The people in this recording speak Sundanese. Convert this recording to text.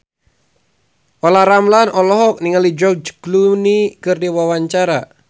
Olla Ramlan olohok ningali George Clooney keur diwawancara